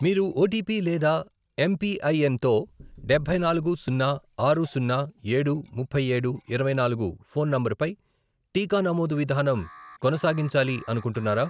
మీరు ఓటిపి లేదా ఎంపిఐఎన్ తో డబ్బై నాలుగు, సున్నా, ఆరు, సున్నా, ఏడు, ముప్పై ఏడు, ఇరవై నాలుగు, ఫోన్ నంబర్ పై టీకా నమోదు విధానం కొనసాగించాలి అనుకుంటున్నారా?